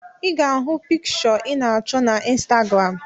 I ga-ahụ pikịshọ ị na achọ na Instagram